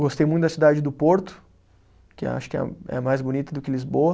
Gostei muito da cidade do Porto, que acho que é, é mais bonita do que Lisboa.